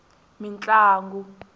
mintlangu